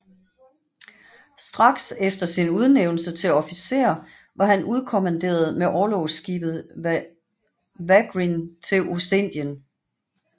Straks efter sin udnævnelse til officer var han udkommanderet med orlogsskibet Wagrien til Ostindien